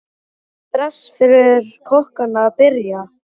Er stress fyrir kokkana að byrja?